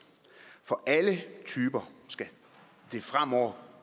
for alle typer skal det fremover